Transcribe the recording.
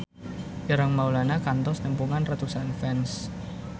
Ireng Maulana kantos nepungan ratusan fans